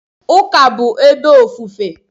Ụka bụ ebe ofufe.